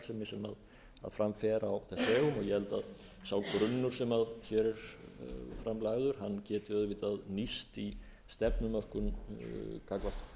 sem fram fer á þess vegum og ég held að sá grunnur sem hér er fram lagður geti auðvitað nýst í stefnumörkun gagnvart annarri starfsemi á vegum ríkisins þar eru